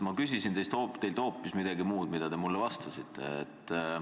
Ma ju küsisin teilt hoopis midagi muud, mitte seda, millele te vastasite.